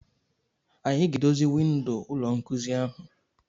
Anyị ga-edozi windo ụlọ nkuzi ahụ.